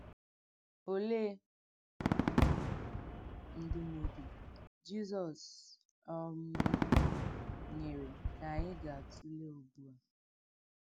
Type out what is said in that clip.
Òlee ndụ́mòdù Jizọs um nyere nke ànyị gà-àtùlé ùgbú à?